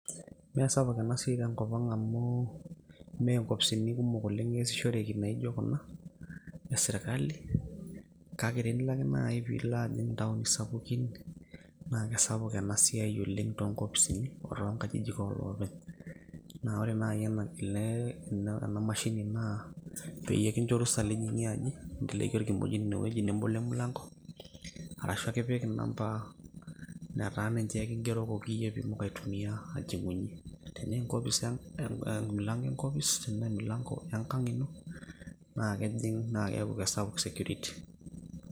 Mesapuk enasiai tenkop ang' amu, me nkopisini kumok oleng' eesishoreki naijo kuna esirkali, kake tenilo ake nai pilo ajing' intaoni sapukin, na kesapuk enasiai oleng' tonkopisini o tonkajijik oloopeny. Na ore nai enapile ena mashini naa, peyie kincho orusa lijing'ie aji, inteleki orkimojino inewueji nebolo emilanko, arashu ake ipik inamba netaa ninche kigerokoki yie pitum aitumia ajing'unye. Tenaa enkopis emilanko enkopis, tenaa emilanko enkang' ino, na kejing' na keeku kesapuk security.